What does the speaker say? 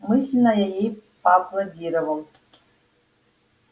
мысленно я ей поаплодировал